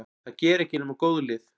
Það gera ekki nema góð lið.